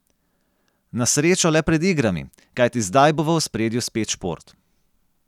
Na srečo le pred igrami, kajti zdaj bo v ospredju spet šport.